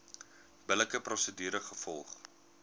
billike prosedure gevolg